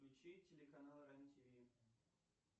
включи телеканал рен тиви